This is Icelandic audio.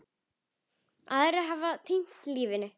Aðrir hafa týnt lífinu.